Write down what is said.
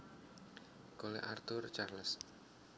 Cole Arthur Charles